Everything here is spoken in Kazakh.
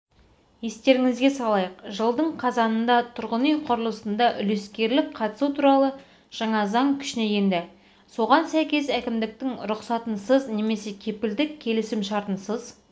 естеріңізге салайық жылдың қазанында тұрғын үй құрлысында үлескерлік қатысу туралы жаңа заң күшіне енді соған сәйкес әкімдіктің рұқсатынсыз немесе кепілдік келісімшартынсыз